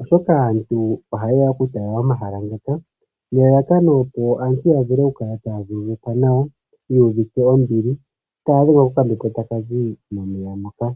oshoka aantu ohaye ya oku tala omahala ngaka nelalakano opo aantu ya vule oku kala taya vululukwa nawa, taya dhengwa kokambepo taka zi momeya moka.